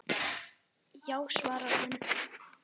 Já svarar hann.